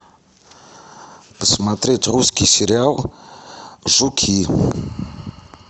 посмотреть русский сериал жуки